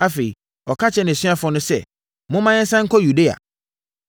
Afei, ɔka kyerɛɛ nʼasuafoɔ no sɛ, “Momma yɛnsane nkɔ Yudea.”